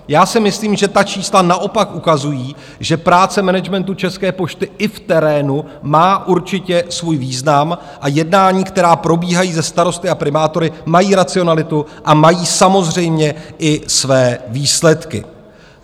Já si myslím, že ta čísla naopak ukazují, že práce managementu České pošty i v terénu má určitě svůj význam a jednání, která probíhají se starosty a primátory, mají racionalitu a mají samozřejmě i své výsledky.